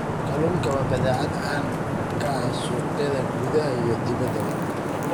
Kalluunku waa badeecad caan ka ah suuqyada gudaha iyo dibaddaba.